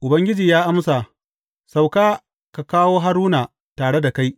Ubangiji ya amsa, Sauka ka kawo Haruna tare da kai.